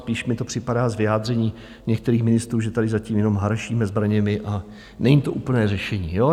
Spíš mi to připadá z vyjádření některých ministrů, že tady zatím jenom harašíme zbraněmi, a není to úplné řešení.